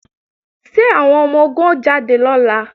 Ṣé àwọn ọmọ-ogun ó jáde lọ́la?